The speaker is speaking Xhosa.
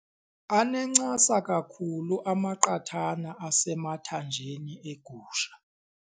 Anencasa kakhulu amaqathana asemathanjeni egusha.